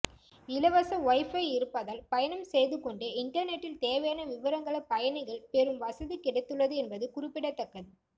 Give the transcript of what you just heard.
இலவச வைபை இருப்பதால் பயணம் செய்துகொண்டே இன்டர்நெட்டில் தேவையான விவரங்களை பயணிகள் பெரும் வசதி கிடைத்துள்ளது என்பது குறிப்பிடத்தக்கது